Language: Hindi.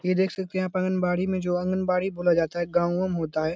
ये देख सकते हैं आप आंगनबाड़ी में जो आंगनबाड़ी बोला जाता है गांव वाम होता है।